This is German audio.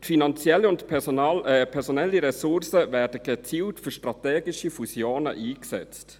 Finanzielle und personelle Ressourcen werden gezielt für strategische Fusionen eingesetzt.